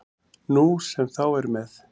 Nú sem þá er með